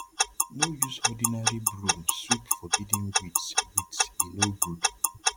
no use ordinary broom sweep forbidden weeds weeds e no good